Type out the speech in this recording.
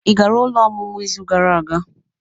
Ị gara ụlọ ọmụmụ izu gara aga?